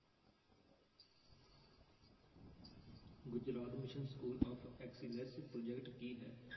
Gujarat mission school of excellence project ਕੀ ਹੈ।